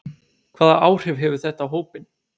Hvaða áhrif hefur þetta á hópinn?